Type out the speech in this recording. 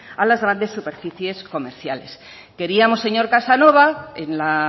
a las grandes superficies comerciales queríamos señor casanova en la